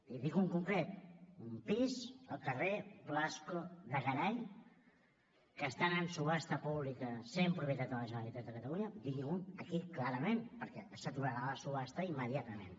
i en dic un en concret un pis al carrer blasco de garay que estan en subhasta pública sent propietat de la generalitat de catalunya digui m’ho aquí clarament perquè s’aturarà la subhasta immediatament